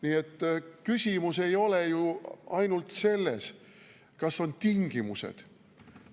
Nii et küsimus ei ole ju ainult selles, kas on tingimused.